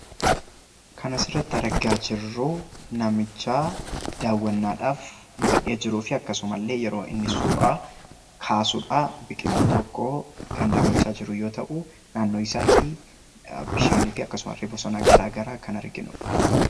Kan asirratti argaa jirru namichi daawwannaadhaaf bahee jiruu fi akkasumas yeroo inni suuraa kaasuudhaa biqiltuu tokko kan daawwachaa jirru yommuu ta'u, naannoo isaaniitti bishaaniifi akkasuma bosona gara garaa illee kan arginuudha.